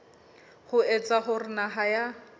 ho etsa hore naha ya